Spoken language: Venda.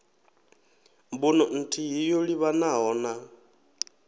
mbuno nthihi yo livhanaho na